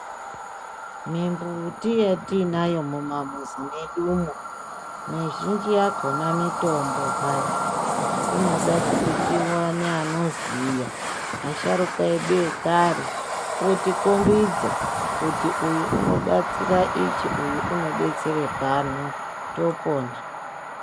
Mimbuti yetiinayo mumamuzi mwedumo mizhinji yakhona mitombo hai! Inoda kuti tiwane anoziya, asharuka edu ekare otikhombidza kuti uyu unobatsira ichi, uyu unodetsere pano, topona.